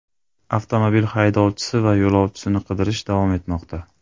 Avtomobil haydovchisi va yo‘lovchisini qidirish davom etmoqda.